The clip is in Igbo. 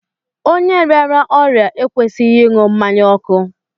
Onye rịara ọrịa ekwesịghị ịṅụ mmanya ọkụ